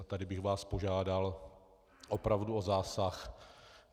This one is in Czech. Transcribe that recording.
A tady bych vás požádal opravdu o zásah.